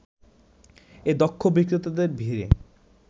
এ দক্ষ বিক্রেতাদের ভিড়ে